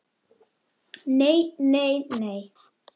Nei, nei, nei.